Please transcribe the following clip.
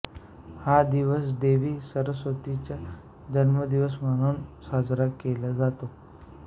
हा दिवस देवी सरस्वतीचा जन्मदिवस म्हणूनही साजरा केला जातो